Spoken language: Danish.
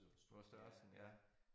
Hvor størrelsen ja